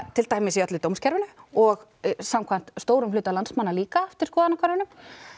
til dæmis í öllu dómskerfinu og samkvæmt stórum hluta landsmanna líka eftir skoðanakönnunum